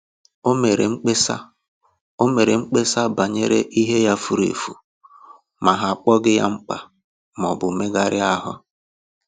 O mere mkpesa O mere mkpesa banyere ihe ya fùrù efù, ma ha akpọghị ya mkpa maọbụ megharịa ahụ